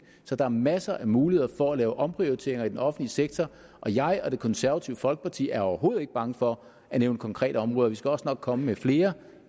så der er masser af muligheder for at lave omprioriteringer i den offentlige sektor og jeg og det konservative folkeparti er overhovedet ikke bange for at nævne konkrete områder vi skal også nok komme med flere